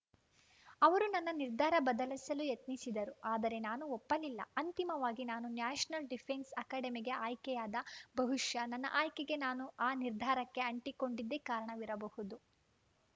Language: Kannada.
ಅವರು ನನ್ನ ನಿರ್ಧಾರ ಬದಲೆಸಲು ಯತ್ನಿಸಿದರು ಆದರೆ ನಾನು ಒಪ್ಪಲಿಲ್ಲ ಅಂತಿಮವಾಗಿ ನಾನು ನ್ಯಾಷನಲ್ ಡಿಫೆನ್ಸ್ ಅಕ್ಯಾಡಮಿಗೆ ಆಯ್ಕೆಯಾದ ಬಹುಷ್ಯ ನನ್ನ ಆಯ್ಕೆಗೆ ನಾನು ಆ ನಿರ್ಧಾರಕ್ಕೆ ಆಂಟಿ ಕೊಂಡಿದ್ದೆ ಕಾರಣವಿರಬಹುದು